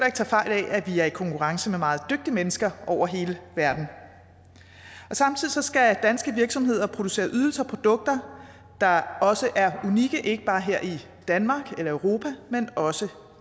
ikke tage fejl af at vi er i konkurrence med meget dygtige mennesker over hele verden samtidig skal danske virksomheder producere ydelser og produkter der også er unikke ikke bare her i danmark eller i europa men også